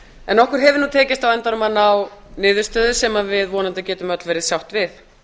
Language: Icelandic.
en okkur hefur tekist á endanum að ná niðurstöðu sem við vonandi getum öll verið sátt við